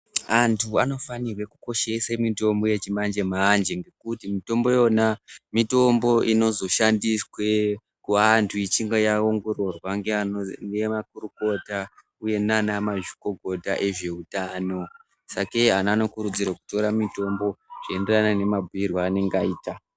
Antu anofanirwe kukoshesa mitombo yechimanje manje ngekuti mitombo iyona mitombo inozoshandiswe kuantu ichinge yaongororwa ngemakurukota uye nana mazvikokota ezveutano, sakei antu anokurudzirwa kutora mitombo zvichienderana nemabhiirwe eanenge aitwa.